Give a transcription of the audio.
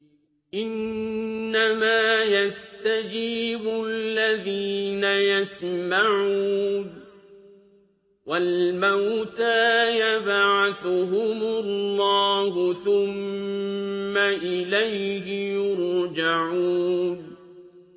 ۞ إِنَّمَا يَسْتَجِيبُ الَّذِينَ يَسْمَعُونَ ۘ وَالْمَوْتَىٰ يَبْعَثُهُمُ اللَّهُ ثُمَّ إِلَيْهِ يُرْجَعُونَ